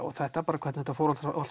og þetta bara hvernig þetta fór allt